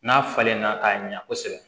N'a falenna k'a ɲa kosɛbɛ